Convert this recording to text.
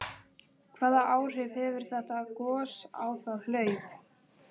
Hvaða áhrif hefur þetta gos á það hlaup?